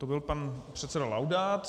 To byl pan předseda Laudát.